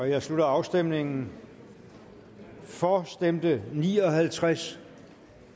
jeg slutter afstemningen for stemte ni og halvtreds